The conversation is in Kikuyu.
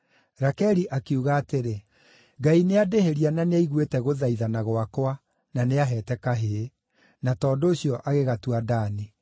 Rakeli akiuga atĩrĩ, “Ngai nĩandĩhĩria na nĩaiguĩte gũthaithana gwakwa, na nĩaheete kahĩĩ.” Na tondũ ũcio, agĩgatua Dani.